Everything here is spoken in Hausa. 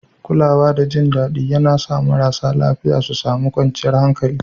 Kulawa da jin daɗi yAna sa marasa lafiya su sami kwanciyar hankali